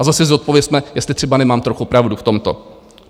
A zase si zodpovězme, jestli třeba nemám trochu pravdu v tomto?